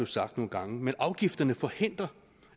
sagt nogle gange men afgifterne forhindrer